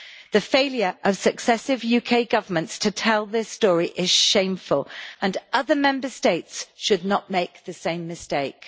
The failure of successive UK governments to tell this story is shameful and other Member States should not make the same mistake.